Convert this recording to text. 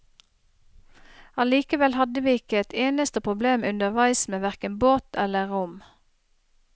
Allikevel hadde vi ikke et eneste problem underveis med hverken båt eller rom.